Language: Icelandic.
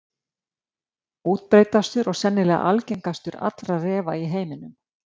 Útbreiddastur og sennilega algengastur allra refa í heiminum.